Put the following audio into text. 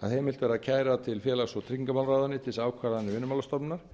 að heimilt verði að kæra til félags og tryggingamálaráðuneytisins ákvarðanir vinnumálastofnunar